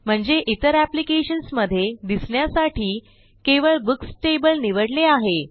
म्हणजे इतर एप्लिकेशन्स मधे दिसण्यासाठी केवळ बुक्स टेबल निवडले आहे